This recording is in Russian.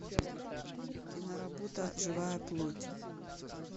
киноработа живая плоть